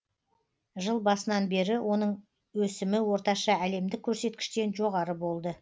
жыл басынан бері оның өсімі орташа әлемдік көрсеткіштен жоғары болды